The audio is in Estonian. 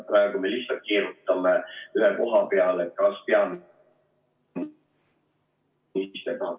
Praegu me lihtsalt keerutame ühe koha peal, et kas peaminister ...